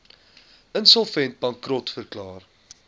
insolvent bankrot verklaar